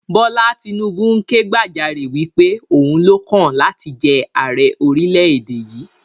Bọlá Tinubu ń ké gbàjarè wípé Òun lọ́kàn láti jẹ àrẹ orílẹ̀ èdè yìí